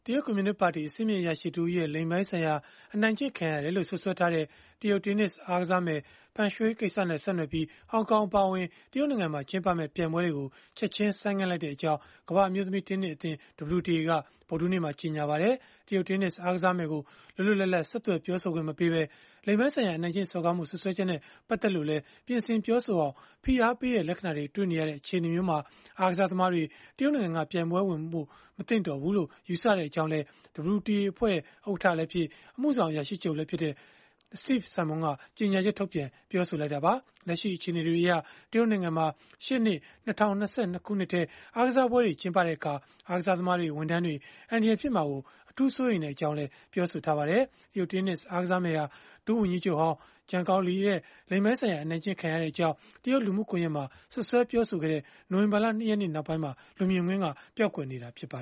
တရုတ်ကွန်မြူနစ်ပါတီ အဆင့်မြင့် အရာရှိတဦးရဲ့ လိင်ပိုင်းဆိုင်ရာ အနိုင်ကျင့်ခံရတယ်လို့ စွပ်စွဲထားတဲ့ တရုတ်တင်းနစ် အားကစားမယ် Peng Shuai ကိစ္စနဲ့ ဆက်နွယ်ပြီး၊ ဟောင်ကောင် အပါအဝင် တရုတ်နိုင်ငံမှာ ကျင်းပမယ့် ပြိုင်ပွဲတွေကို ချက်ခြင်း ဆိုင်းငံ့လိုက်ကြောင်း ကမ္ဘာ့အမျိုးသမီး တင်းနစ်အသင်း (WTA) က ဗုဒ္ဓဟူးနေ့မှာ ကြေညာလိုက်ပါတယ်။ တရုတ်တင်းနစ် အားကစားမယ်ကို လွတ်လွတ်လပ်လပ် ဆက်သွယ် ပြောဆိုခွင့်မပေးဘဲ လိင်ပိုင်းဆိုင်ရာ အနိုင်ကျင့် စော်ကားမှု စွပ်စွဲချက်နဲ့ ပတ်သက်လို့လည်း ပြင်ဆင်ပြောဆိုအောင် ဖိအားပေးတဲ့ လက္ခဏာတွေ တွေ့နေရတဲ့ အခြေအနေမျိုးမှာ အားကစားသမားတွေ တရုတ်နိုင်ငံမှာ ပြိုင်ပွဲဝင်ဖို့ မသင့်တော်ဘူးလို့ ယူဆကြောင်းလည်း WTA အဖွဲ့ ဥက္ကဋ္ဌလည်းဖြစ်၊ အမှုဆောင် အရာရှိချုပ်လည်းဖြစ်တဲ့ Steve Simon က ကြေညာချက်ထုတ်ပြန် ပြောဆိုခဲ့တာပါ။ လက်ရှိ အခြေအနေတွေအရ တရုတ်နိုင်ငံမှာ ရှေ့နှစ် ၂၀၂၂ ခုနှစ်ထဲ အားကစားပွဲတွေ ကျင်းပတဲ့အခါ အားကစားသမားတွေ၊ ဝန်ထမ်းတွေ အန္တရာယ်ဖြစ်မှာ အထူးစိုးရိမ်ကြောင်းလည်း ပြောဆိုထားပါတယ်။ တရုတ်တင်းနစ် အားကစားမယ်ဟာ ဒုဝန်ကြီးချုပ်ဟောင်း Zhang Gaoli ရဲ့ လိင်ပိုင်းဆိုင်ရာ အနိုင်ကျင့် ခံရကြောင်း တရုတ်လူမှုကွန်ရက်မှာ စွပ်စွဲပြောဆိုခဲ့တဲ့ နိုဝင်ဘာလ ၂ ရက်နေ့ ကတည်းက လူမြင်ကွင်းက ပျောက်ကွယ်နေတာပါ